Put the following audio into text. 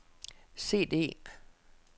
CD